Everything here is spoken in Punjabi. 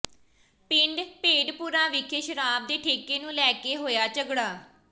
ਪਿੰਡ ਭੇਡਪੁਰਾ ਵਿਖੇ ਸ਼ਰਾਬ ਦੇ ਠੇਕੇ ਨੂੰ ਲੈ ਕੇ ਹੋਇਆ ਝਗੜਾ